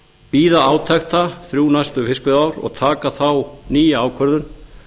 bíða átekta þrjú næstu fiskveiðiár og taka þá nýja ákvörðun